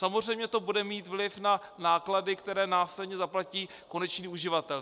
Samozřejmě to bude mít vliv na náklady, které následně zaplatí konečný uživatel.